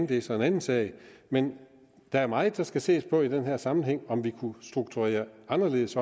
det er så en anden sag men der er meget der skal ses på i den her sammenhæng om vi kunne strukturere anderledes